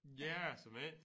Ja såmænd